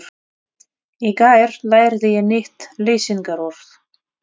Í gær lærði ég nýtt lýsingarorð.